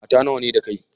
Mata nawa ne da kai?